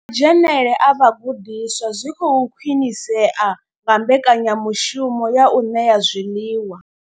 Na madzhenele a vhagudiswa zwi khou khwinisea nga mbekanya mushumo ya u ṋea zwiḽiwa.